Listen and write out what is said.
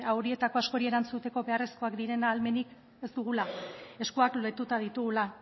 horietako askori erantzuteko beharrezkoak diren ahalmenik ez dugula eskuak lotuta ditugula